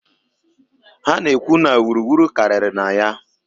Ha na-ekwu na wuru wuru karịrị na ya.